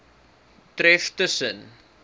tref tus sen